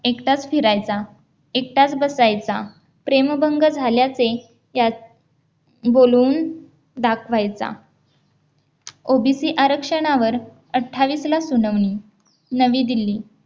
एकटाच फिरायचा एकटाच बसायचा प्रेमभंग झाल्याचे त्यात बोलून दाखवायचा OBC आरक्षणावर अठ्ठावीस ला सुनावणी नवी दिल्ली